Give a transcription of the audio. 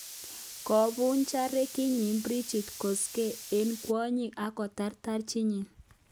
Kobunchan rekidit Bridgit Koskei enh kwonyik akoteer tajiit nyi